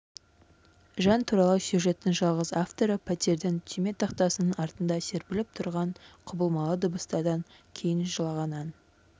жан туралы сюжеттің жалғыз авторы пәтердің түйме тақтасының артында серпіліп тұрған құбылмалы дыбыстардан кейін жылаған ән